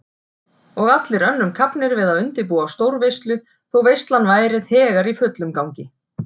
Og allir önnum kafnir við að undirbúa stórveislu þótt veislan væri þegar í fullum gangi.